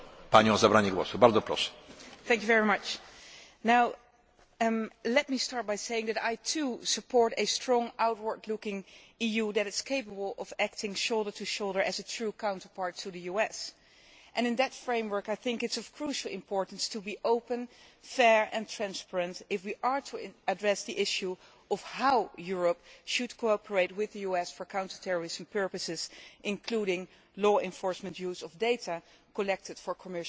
Mr President, I shall start by saying that I, too, support a strong, outward looking EU that is capable of acting shoulder to shoulder as a true counterpart to the US, and in that framework, I think it is of crucial importance to be open, fair and transparent if we are to address the issue of how Europe should cooperate with the US for counter terrorism purposes, including law enforcement use of data collected for commercial ends.